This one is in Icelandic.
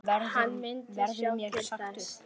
Hann myndi sjá til þess.